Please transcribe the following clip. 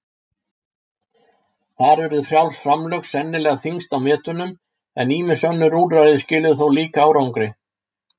Þar urðu frjáls framlög sennilega þyngst á metunum, en ýmis önnur úrræði skiluðu líka árangri.